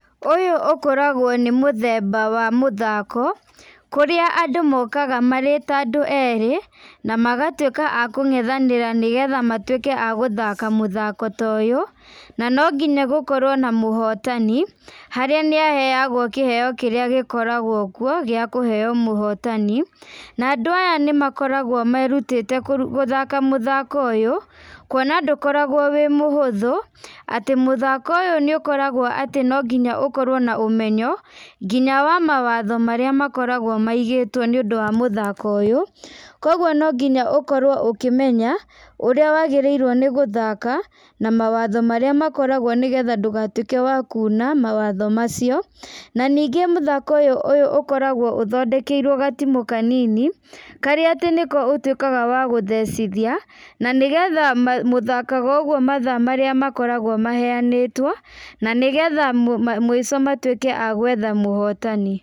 Ũyũ ũkoragwo nĩ mũthemba wa mũthako, kũrĩa andũ mokaga marĩ ta andũ erĩ, na magatuĩka akũng´ethanĩra nĩgetha matuĩke agũthaka mũthako ta ũyũ, na no nginya gũkorwo na mũhotani, harĩa nĩ aheagwo kĩheo kĩrĩa gĩkoragwo kuo, gĩa kũheo mũhotani, na andũ aya nĩ makoragwo merutĩte gũthaka mũthako ũyũ, kuona ndũkoragwo wĩ mũhũthũ , atĩ mũthako ũyũ nĩ ũkoragwo no nginya atĩ, ũkorwo na ũmenyo ,nginya wa mawatho marĩa makoragwo maigĩtwo nĩ ũndũ wa mũthako ũyũ, kuguo no nginya ũkorwo ũkĩmenya, ũrĩa wagĩrĩirwo nĩ gũthaka, na mwatho marĩa makoragwo kuo, nĩgetha ndũgatuĩke wa kuna mawatho macio, na ningĩ mũthako ũyũ ũkoragwo ũthondekeirwo gatimũ kanini , karĩa atĩ nĩko ũtuĩkaga wagũthecithia, na nĩgetha mũgathaka ũguo mathaa marĩa, makoragwo maheanĩtwo, na nĩgetha mũico matuĩke agwetha muhotani.